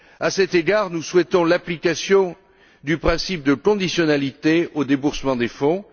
À cet égard, nous souhaitons l'application du principe de conditionnalité au déboursement des fonds.